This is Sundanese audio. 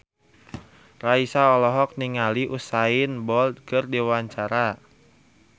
Raisa olohok ningali Usain Bolt keur diwawancara